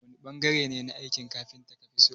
wani bangare ne na aikin kafita kafiso?